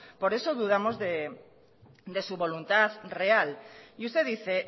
por eso dudamos de su voluntad real y usted dice